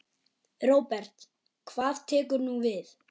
Róbert: Hvað tekur nú við?